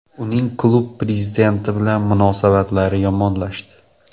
Uning klub prezidenti bilan munosabatlari yomonlashdi.